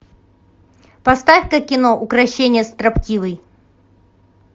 поставь ка кино укрощение строптивой